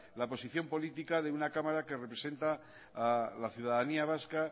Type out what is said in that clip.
la posición política de una cámara que representa a la ciudadanía vasca